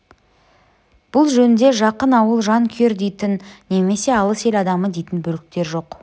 бұл жөнде жақын ауыл жан күйер дейтін немесе алыс ел адамы дейтін бөліктер жоқ